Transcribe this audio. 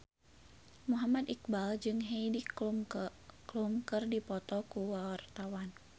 Muhammad Iqbal jeung Heidi Klum keur dipoto ku wartawan